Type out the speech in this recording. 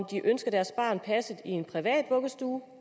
de ønsker at deres barn bliver passet i en privat vuggestue